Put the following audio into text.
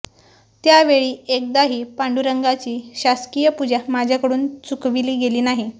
त्या वेळी एकदाही पांडुरंगाची शासकीय पूजा माझ्याकडून चुकविली गेली नाही